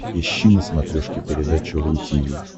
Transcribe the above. ищи на смотрешке передачу ру ти ви